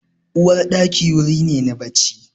Uwarɗaki wuri ne na bacci.